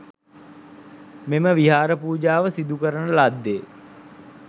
මෙම විහාර පූජාව සිදුකරන ලද්දේ